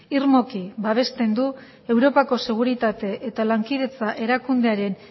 irmoki babesten du europako seguritate eta lankidetza erakundearen